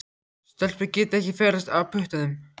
Stelpur geta ekki ferðast á puttanum.